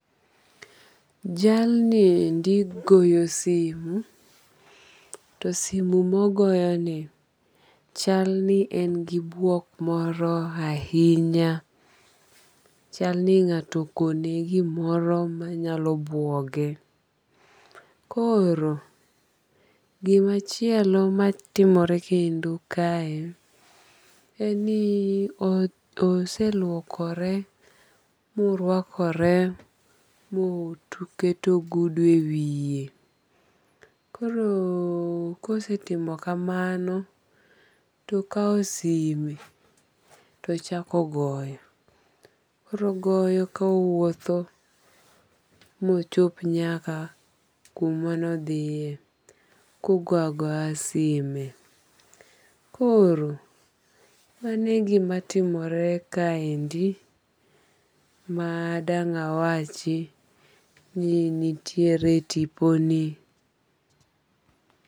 Jal ni endi goyo simo. To simo mogoyoni chal ni en gi buok moro ahinya. Chalni ng'ato okone gimoro manyalo buoge. Koro gimachielo matimore kendo kae en ni oseluokore morwakore moketo ogudu e wiye. Koro kosetimo kamano tokaw simo tochako goyo. Koro ogoyo kowuotho mochop nyaka kuma nodhiye kogoyo agoya simo. Koro mani e gimatimore kaendi madang' awachi ni nitiere e tipo ni.